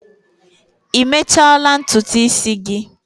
Ị mechala ntutu isi gị?